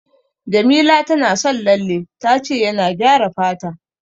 Jamila tana son lalle, ta ce yana gyara fata.